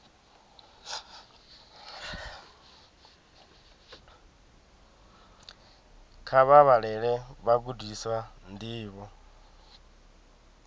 kha vha vhalele vhagudiswa ndivho